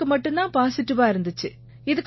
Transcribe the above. எனக்கு மட்டும் தான் பாசிடிவா இருந்திச்சு